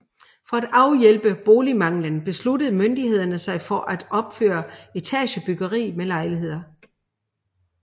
For at afhjælpe boligmanglen besluttede myndighederne sig for at opføre etagebyggeri med lejligheder